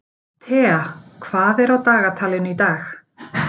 Tea, hvað er á dagatalinu í dag?